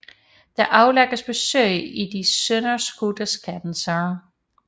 Der aflægges besøg i de sønderskudte skanser